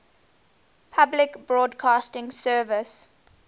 public broadcasting service